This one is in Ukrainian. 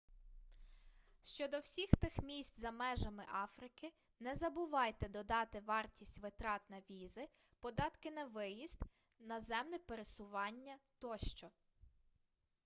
щодо всіх тих місць за межами африки не забувайте додати вартість витрат на візи податки на виїзд наземне пересування тощо